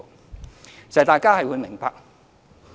事實上，大家是明白的。